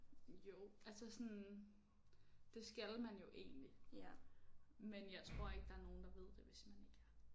Jo altså sådan det skal man jo egentlig. Men jeg tror ikke der er nogen der ved det hvis man ikke er